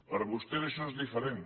per a vostès això és diferent